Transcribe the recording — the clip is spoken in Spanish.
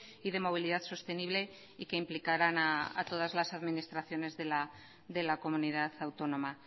y de movilidad sostenible y que implicarán a todas las administraciones de la comunidad autónoma